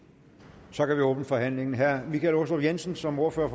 så kan vi åbne forhandlingen herre michael aastrup jensen som ordfører